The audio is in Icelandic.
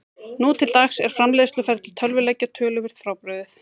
Nú til dags er framleiðsluferli tölvuleikja töluvert frábrugðið.